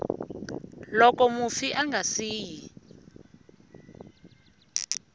loko mufi a nga siyi